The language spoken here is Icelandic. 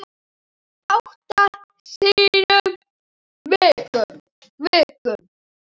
Átta sinnum í viku.